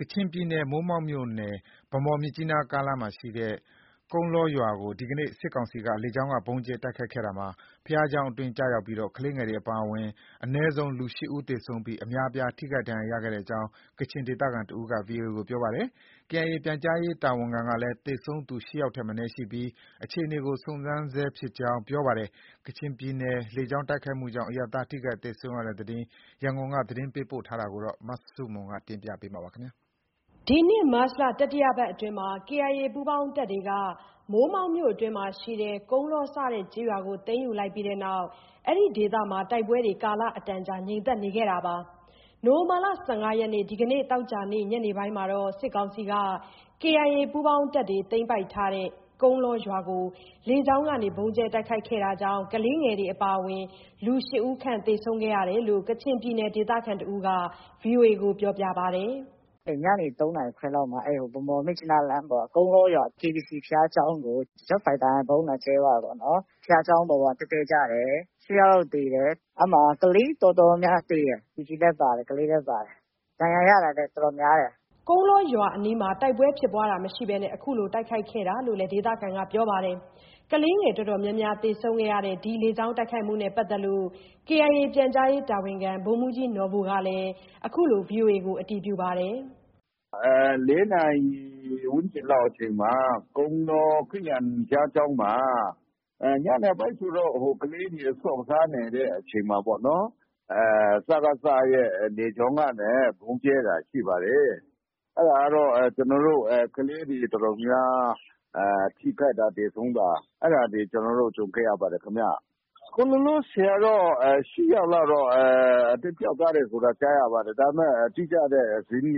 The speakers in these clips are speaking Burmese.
ကချင်ပြည်နယ် မိုးမောက်မြို့နယ် ဗန်းမော်-မြစ်ကြီးနား ကားလမ်းရှိ ကုန်းလောရွာကို ဒီကနေ့ စစ်ကောင်စီက လေကြောင်းက ဗုံးကြဲတိုက်ခိုက်ခဲ့ရာမှာ ဘုရားကျောင်းအတွင်းကျရောက်ပြီး ကလေးငယ်တွေ အပါအဝင် အနည်းဆုံးလူ ၈ဦးသေဆုံးပြီး အများအပြားထိခိုက်ဒဏ်ရာရခဲ့ကြောင်း ကချင်ဒေသခံတဦးက VOA ကို ပြောပါတယ်။ KIA ပြန်ကြားရေးတာဝန်ခံကလည်း သေဆုံးသူ ၈ယောက်ထက်မနည်းရှိပြီး အခြေအနေကို စုံစမ်းနေဆဲဖြစ်ကြောင်း ပြောပါတယ်။ ကချင်ပြည်နယ် လေကြောင်းတိုက်ခိုက်မှုကြောင့် အရပ်သားထိခိုက်သေဆုံးရတဲ့ သတင်း ရန်ကုန်က သတင်းပေးပို့ထားပါတယ်။ ဒီနှစ်မတ်လ တတိယပတ်အတွင်းမှာ KIA ပူးပေါင်းတပ်တွေက မိုးမောက်မြို့နယ်အတွင်းရှိ ကုန်းလော စတဲ့ကျေးရွာကိုသိမ်းယူလိုက်ပြီးနောက် ဒီဒေသမှ ကာလအတန်ကြာတိုက်ပွဲတွေငြိမ်သက်နေခဲ့ပါတယ်။ ဒီလ ၁၅ ရက်နေ့ သောကြာနေ့ ညနေပိုင်းမှာတော့ စစ်ကောင်စီက KIA ပူးပေါင်းတပ်တွေသိမ်းထားတဲ့ ကုန်းလောရွာကို လေကြောင်းက ဗုံးကြဲတိုက်ခိုက်ခဲ့တာကြောင့် ကလေးငယ်တွေအပါအဝင် လူ ၈ ဦးခန့် သေဆုံးရကြောင်း ကချင်ပြည်နယ် ဒေသခံတဦးက VOA ကို ပြောပါတယ်။ “ညနေ ၃ နာရီခွဲလောက်မှာ ဗန်းမော်-မြစ်ကြီးနားလမ်းပေါ်က ကုန်းလောရွာ KBC ဘုရားကျောင်းကို Jet Fighter နဲ့ ဗုံးလာကြဲသွားတာပေါ့နော်။ဘုရားကျောင်းပေါ်မှာ တည့်တည့်ကျတယ်။ ၈ ယောက် လောက်သေတယ်။ ကလေးတော်တော်များများ သေတယ်။ လူကြီးလည်း ပါတယ်။ ကလေးလည်း ပါတယ်။ ဒဏ်ရာရတာလည်း တော်တော်များတယ်။” ကုန်းလောရွာအနီးမှာ တိုက်ပွဲဖြစ်ပွားတာမရှိဘဲ အခုလို တိုက်ခိုက်ခဲ့တာလို့လည်း ပြောပါတယ်။ ကလေးငယ်တော်တော်များများ သေဆုံးခဲ့ရတဲ့ ဒီလေကြောင်းတိုက်ခိုက်မှုနဲ့ပတ်သက်ပြီး KIA ပြန်ကြားရေး တာဝန်ခံ ဗိုလ်မှူးကြီးနော်ဘူကလည်း အခုလို အတည်ပြု ပြောကြားပါတယ်။ “၄ နာရီ ဝန်းကျင်လောက်အချိန်မှာ ကုန်းလော ခရစ်ယာန်ဘုရားကျောင်းမှာ ညနေပိုင်းဆိုတော့ ကလေးတွေ ဆော့ကစားနေတဲ့အချိန်မှာပေါ့နော်။ စကစနဲ့ လေကြောင်းကနေ ဗုံးကြဲတာ ရှိပါတယ်။ ကလေးတွေအတော်များများ ထိခိုက်တာ သေဆုံးတာ အဲဒါတွေ ကျနော်တို့ ကြုံခဲ့ရပါတယ်ခင်ဗျ။ အခုလောလောဆယ်ကတော့ ၈ ယောက်လောက်တော့ သေပျောက်သွားတယ်ဆိုတာ ကြားရပါတယ်။ ဒါပေမဲ့ တိကျတဲ့ သတင်းတွေ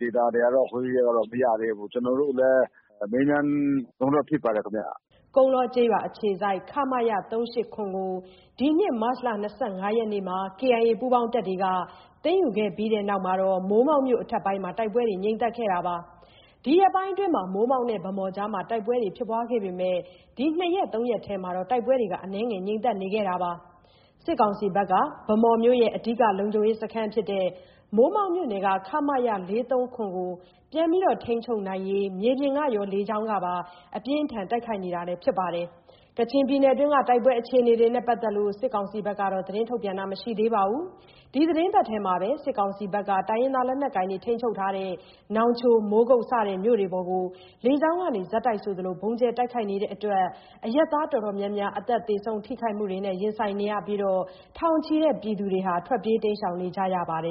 Deta တွေကတော့ မရသေးဘူး။ ကျနော်တို့လည်း မေးမြန်းတုန်းပဲ ဖြစ်ပါတယ်ခင်ဗျ။” ကုန်းလောကျေးရွာအခြေစိုက် ခမရ ၃၈၇ ကို ဒီနှစ် မတ်လ ၂၅ ရက်နေ့က KIA ပူးပေါင်းတပ်တွေက သိမ်းယူခဲ့ပြီးနောက် မိုးမောက်မြို့နယ် အထက်ပိုင်းမှာ တိုက်ပွဲတွေ ငြိမ်သက်နေခဲ့တာပါ။ ဒီရက်ပိုင်းအတွင်း မိုးမောက်နဲ့ ဗန်းမော်ကြားမှာ တိုက်ပွဲတွေပြင်းထန်ခဲ့ပေမဲ့ ဒီ ၂ရက်၊ ၃ ရက်အတွင်း တိုက်ပွဲတွေ အနည်းငယ်ငြိမ်သက်နေခဲ့ပါတယ်။ စစ်ကောင်စီဘက်ကတော့ ဗန်းမော်မြို့ရဲ့အဓိက လုံခြုံရေးစခန်းဖြစ်တဲ့ မိုးမောက်မြို့နယ်က ခမရ ၄၃၇ ကို ပြန်လည် ထိန်းချုပ်နိုင်ဖို့ မြေပြင်ကရော လေကြောင်းကပါ အပြင်းအထန် တိုက်ခိုက်နေတာလည်း ဖြစ်ပါတယ်။ ကချင်ပြည်နယ်တွင်းက တိုက်ပွဲအခြေအနေတွေနဲ့ပတ်သက်လို့ စစ်ကောင်စီဘက်က သတင်းထုတ်ပြန်တာမရှိသေးပါဘူး။ ဒီသီတင်းပတ်ထဲမှာပဲ စစ်ကောင်စီဘက်က နောင်ချို၊ မိုးကုတ်မြို့တွေပေါ်ကိုလည်း လေကြောင်းကနေ ဆက်တိုက်ဆိုသလို ဗုံးကြဲတိုက်ခိုက်နေလို့ အရပ်သားတော်တော်များများ အသက်သေဆုံး ထိခိုက်မှုတွေနဲ့ ရင်ဆိုင်နေရပြီး ထောင်ချီတဲ့ပြည်သူတွေ ထွက်ပြေးတိမ်းရှောင်နေကြရပါတယ်